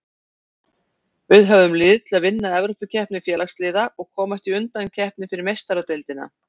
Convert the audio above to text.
Við höfum lið til að vinna Evrópukeppni Félagsliða og komast í undankeppni fyrir Meistaradeildina.